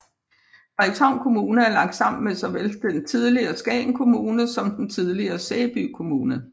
Frederikshavn Kommune er lagt sammen med såvel den tidligere Skagen Kommune som den tidligere Sæby Kommune